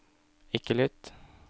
ikke lytt